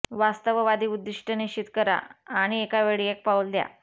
वास्तववादी उद्दीष्ट निश्चित करा आणि एकावेळी एक पाऊल द्या